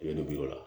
I bɛ bi o la